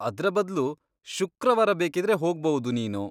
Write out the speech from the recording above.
ಅದ್ರ ಬದ್ಲು ಶುಕ್ರವಾರ ಬೇಕಿದ್ರೆ ಹೋಗ್ಬೌದು ನೀನು.